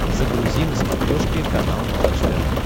загрузи на смотрешке канал малыш тв